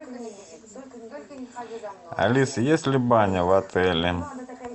алиса есть ли баня в отеле